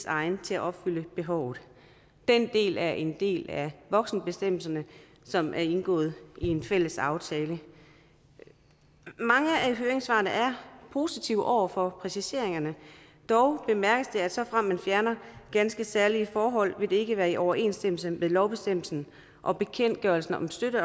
egnet til at opfylde behovet den del er en del af voksenbestemmelserne som er indgået i en fælles aftale mange af høringssvarene er positive over for præciseringerne dog bemærkes det at såfremt man fjerner ganske særlige forhold vil det ikke være i overensstemmelse med lovbestemmelsen og bekendtgørelsen om støtte